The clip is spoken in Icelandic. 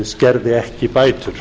skerði ekki bætur